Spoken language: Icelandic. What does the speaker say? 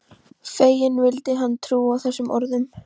Feginn vildi hann trúa þessum orðum.